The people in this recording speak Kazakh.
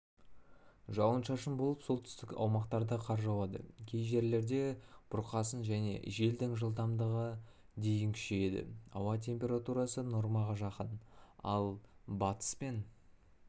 жауын-шашын болып солтүстік аумақтарда қар жауады кей жерлерде бұрқасын және желдің жылдамдығы дейін күшейеді ауа температурасы нормаға жақын ал батыс пен